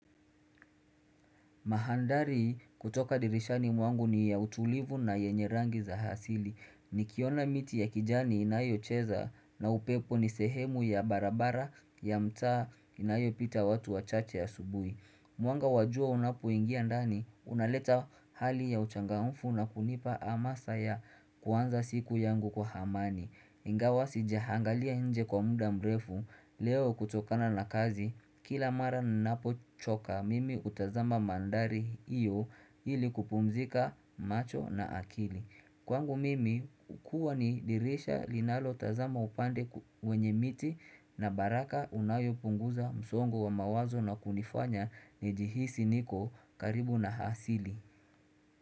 Mahandari kutoka dirishani mwangu ni ya utulivu na yenye rangi za hasili. Nikiona miti ya kijani inayocheza na upepo ni sehemu ya barabara ya mtaa inayopita watu wa chache asubuhi. Mwanga wa jua unapoingia ndani unaleta hali ya uchangamfu na kunipa amasa ya kuanza siku yangu kwa hamani. Ingawa sijahangalia nje kwa mda mrefu leo kutokana na kazi kila mara ninapo choka mimi hutazama mandari hiyo ili kupumzika macho na akili Kwangu mimi hukua ni dirisha linalotazama upande ku wenye miti na baraka unayo punguza msongo wa mawazo na kunifanya nijihisi niko karibu na hasili.